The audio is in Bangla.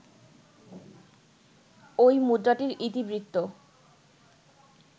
ঐ মুদ্রাটির ইতিবৃত্ত